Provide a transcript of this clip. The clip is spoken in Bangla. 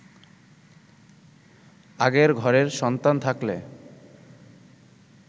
আগের ঘরের সন্তান থাকলে